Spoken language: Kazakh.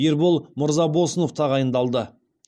ербол мырзабосынов тағайындалды